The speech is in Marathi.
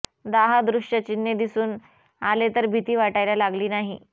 दाह दृश्य चिन्हे दिसून आले तर भीती वाटायला लागली नाही